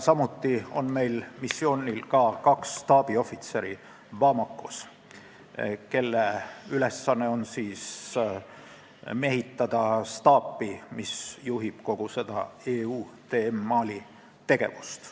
Samuti on meil Bamakos kaks staabiohvitseri, kelle ülesanne on mehitada staapi, mis juhib kogu EUTM Mali tegevust.